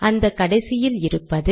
அந்த கடைசியில் இருப்பது